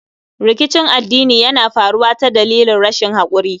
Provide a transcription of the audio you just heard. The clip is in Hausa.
Rikicin addini Yana faruwa ta dalilin rashin hakuri